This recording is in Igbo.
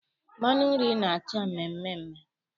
Mmanụ nri na-acha mmeemee.